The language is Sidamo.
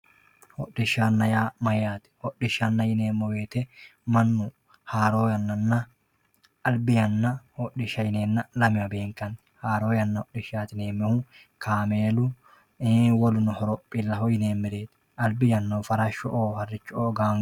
Hodhishana yaa mayate hodhishana yinemo woyite manu haaro yanana albi yana hodhisha yineena lamewa beenkani haaro yana hodhishati yinemohu kaamelu woluno horophilaoo yinemeret albi yanahu farashoo harcho`oo gang